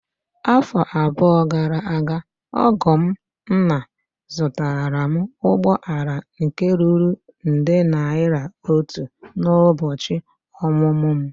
Afọ abụọ gara aga, ọgọ m nna zụtara m ụgbọ ala nke ruru nde naira atọ n'ụbọchị ọmụmụ m.